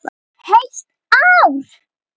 Heilt ár!